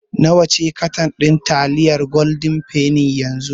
Nawa ce katan ɗin taliyar Golden penny yanzu?